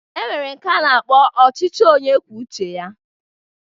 E nwere nke a na-akpọ ọchịchị onye kwuo uche ya